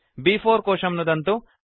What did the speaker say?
ब्4 कोशं नुदन्तु